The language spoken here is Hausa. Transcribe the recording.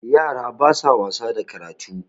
yara ba sa wasa da karatu